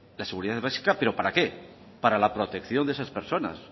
la seguridad es básica pero para qué para la protección de esas personas